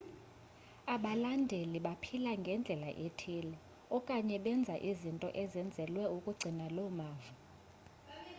abalandeli baphila ngendlela ethile okanye benza izinto ezenzelwe ukugcina loo mava